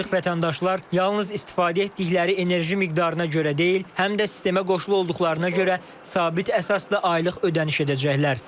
Artıq vətəndaşlar yalnız istifadə etdikləri enerji miqdarına görə deyil, həm də sistemə qoşulu olduqlarına görə sabit əsasda aylıq ödəniş edəcəklər.